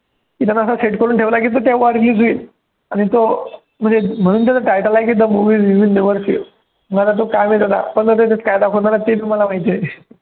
त्यानं असं set करून ठेवलं आहे की तो तेव्हाच दिसेल आणि तो म्हणजे म्हणून त्याचं title आहे की the movie that will never you see मग आता तो काय माहित आहे का पण त्याच्यात काय दाखवणार आहे तेच मला माहिती आहे.